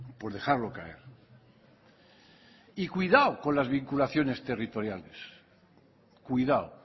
por dejarlo caer y cuidado con las vinculaciones territoriales cuidado